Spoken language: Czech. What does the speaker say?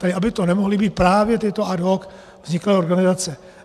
Tak aby to nemohly být právě tyto ad hoc vzniklé organizace.